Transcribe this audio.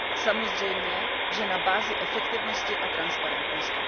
Samozřejmě, že na bázi efektivnosti a transparentnosti.